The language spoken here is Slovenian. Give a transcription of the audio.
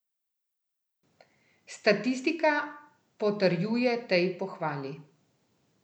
Statistika potrjuje tej pohvali.